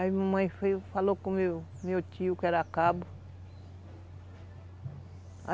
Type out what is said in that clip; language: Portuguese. Aí a mamãe falou com o meu meu tio, que era cabo.